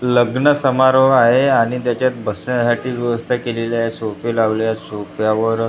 लग्न समारोह आहे आणि त्याच्यात बसण्यासाठी व्यवस्था केलेली आहे सोफे लावलेले आहेत सोफ्यावर --